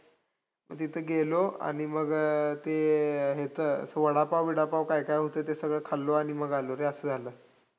म तिथं गेलो, आणि मग ते ह्याचं वडापाव-बिडापाव काय काय होतं ते सगळं खाल्लो, आणि मग आलो रे, असं झालं.